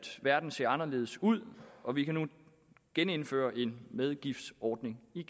verden ser anderledes ud og vi kan nu genindføre en medgiftsordning i